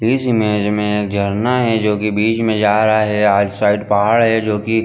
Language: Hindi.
इस इमेज में झरना है जो की बीच में जा रहा है आज साइड पहाड़ है जो की--